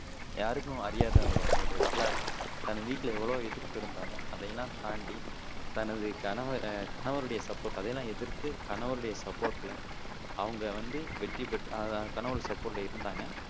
யாருக்கும் அறியாதவங்க அவங்களோட வரலாறு தன் வீட்டுல எவ்ளோ எதிர்ப்பு இருந்தாலும் அதையெல்லாம் தாண்டி தனது கனவரை கணவருடைய சப்போர்ட் அதெல்லாம் எதிர்த்து கணவருடைய சப்போர்ட்ல அவங்க வந்து வெற்றி பெட் அஹ் கணவர் சப்போர்ட்ல இருந்தாங்க